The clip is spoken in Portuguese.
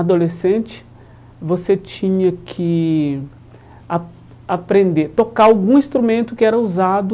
Adolescente, você tinha que a aprender a tocar algum instrumento que era usado